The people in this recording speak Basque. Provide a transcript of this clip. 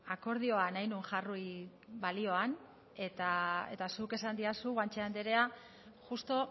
akordioa nahi nuen jarri balioan eta zuk esan didazu guanche andrea justu